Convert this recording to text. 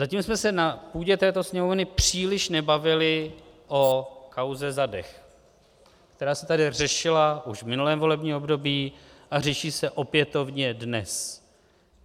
Zatím jsme se na půdě této Sněmovny příliš nebavili o kauze Zadeh, která se tady řešila už v minulém volebním období a řeší se opětovně dnes.